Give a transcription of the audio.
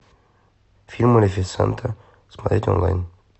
фильм малефисента смотреть онлайн